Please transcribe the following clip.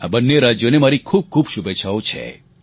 આ બંને રાજ્યોને મારી ખૂબખૂબ શુભેચ્છાઓ છે